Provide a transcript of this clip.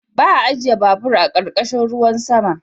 Ba a ajiye babur a ƙarƙashin ruwan sama.